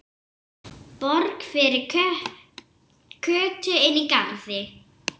Borg fyrir Kötu inní garði.